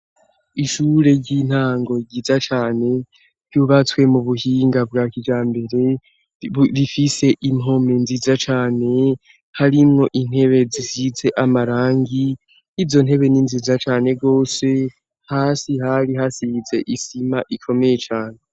Ishure ry'intango ryiza cane ryubatswe mu buhinga bwa kijambire rifise impome nziza cane harimwo intebe zisize amarangi i yo ntebe ni nziza cane rwose hasi hari hasize isima ikomeye cane.